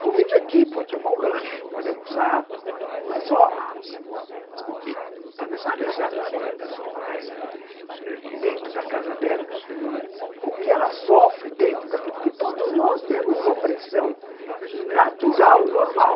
Convive aqui, pode tomar um lanche, pode almoçar, mas só... Você não sabe os hábitos da da sua colega dentro da casa dela, o que ela sofre dentro daqui, porque todos nós temos uma pressão natural, normal,